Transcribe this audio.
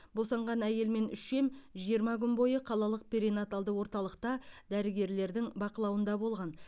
босанған әйел мен үшем жиырма күн бойы қалалық перинаталды орталықта дәрігерлердің бақылауында болған